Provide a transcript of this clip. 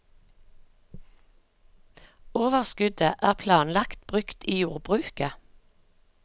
Overskuddet er planlagt brukt i jordbruket.